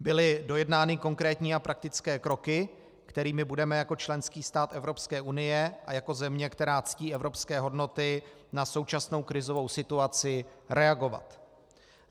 Byly dojednány konkrétní a praktické kroky, kterými budeme jako členský stát Evropské unie a jako země, která ctí evropské hodnoty, na současnou krizovou situaci reagovat.